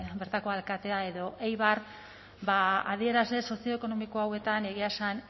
bertako alkatea edo eibar ba adierazle sozioekonomiko hauetan egia esan